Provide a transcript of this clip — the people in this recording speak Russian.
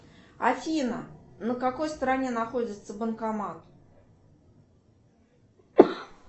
афина на какой стороне находится банкомат